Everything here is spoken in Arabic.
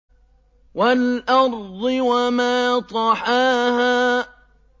وَالْأَرْضِ وَمَا طَحَاهَا